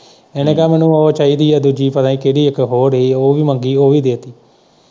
ਇਹਨੇ ਕਿਹਾ ਮੈਨੂੰ ਉਹ ਚਾਹੀਦੀ ਏ ਦੂਜੀ ਪਤਾ ਨੀ ਕਿਹੜੀ ਇੱਕ ਹੋਰ ਏ ਉਹ ਵੀ ਮੰਗੀ ਉਹ ਵੀ ਦੇ ਦਿੱਤੀ।